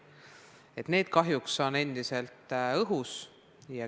Need teemad on kahjuks endiselt õhus.